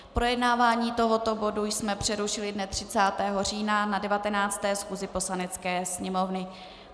Projednávání tohoto bodu jsme přerušili dne 30. října na 19. schůzi Poslanecké sněmovny.